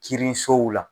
Kirisow la